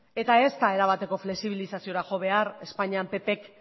ez da era bateko flexibilizaziora jo behar espainian ppk